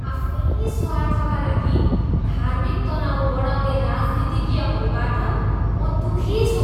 आफ्नै स्वार्थका लागि धार्मिक तनाव बढाउँने राजनीतिज्ञहरूबाट म दुखी छु।